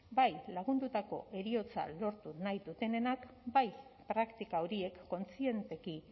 bai lagundutako heriotza lortu nahi dutenenak bai praktika horiek kontzienteki